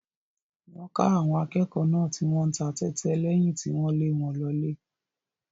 Wọ́n ká àwọn akẹ́kọ̀ọ́ náà tí wọ́n ń ta tẹ́tẹ́ lẹ́yìn tí wọ́n lé wọn lọlé.